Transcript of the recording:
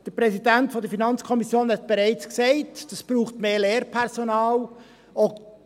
Der Präsident der FiKo hat bereits gesagt, dass dies mehr Lehrpersonal bräuchte.